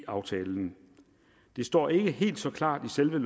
aftalen det står ikke helt så klart i selve